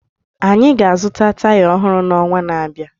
Aga m azụta taya ọhụrụ n'ọnwa na-abịa.